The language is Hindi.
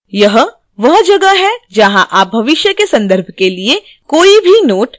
यह वह जगह है जहां आप भविष्य के संदर्भ के लिए कोई भी notes भर सकते हैं